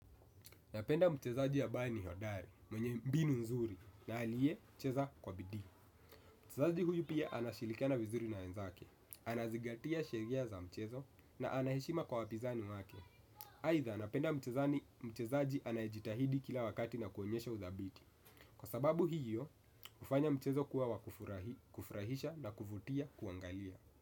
Napenda mchezaji ambaye ni hodari, mwenye mbinu nzuri, na aliye cheza kwa bidii. Mchezaji huyu pia anashilikana vizuri na wenzake, anazigatia sheria za mchezo, na ana heshima kwa wapinzani wake. Aidha napenda mtezani mchezaji anayejitahidi kila wakati na kuonyesha udhabiti. Kwa sababu hiyo, hufanya mchezo kuwa wa kufurahi kufurahisha na kuvutia kuangalia.